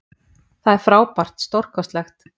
Það er frábært, stórkostlegt.